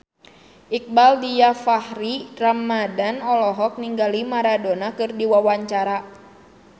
Iqbaal Dhiafakhri Ramadhan olohok ningali Maradona keur diwawancara